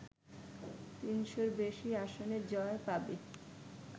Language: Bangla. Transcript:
তিনশ’র বেশি আসনে জয় পাবে